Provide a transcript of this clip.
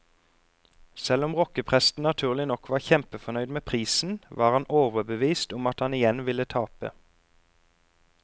Selv om rockepresten naturlig nok var kjempefornøyd med prisen, var han overbevist om at han igjen ville tape.